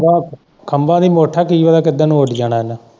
ਖੰਭਾਂ ਦੀ ਮੁੱਠ ਏ ਕੀ ਪਤਾ ਕਿੱਧਰ ਨੂੰ ਉੱਡ ਜਾਣਾ ਉਹ ਨੇ।